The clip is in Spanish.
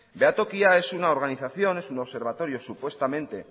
behatokia es una organización es un observatorio supuestamente